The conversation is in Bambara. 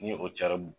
Ni o carin